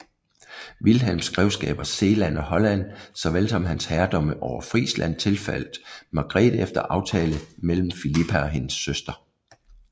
Vilhelms grevskaber Zeeland og Holland såvel som hans herredømme over Frisland tilfaldt Margrete efter aftale mellem Filippa og hendes søster